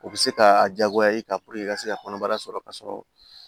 O bɛ se ka a diyagoya i kan i ka se ka kɔnɔbara sɔrɔ k'a sɔrɔ